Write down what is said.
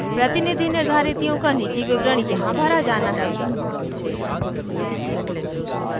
प्रतिनिधि निर्धारितियों का निजी विवरण यहाँ भरा जाना है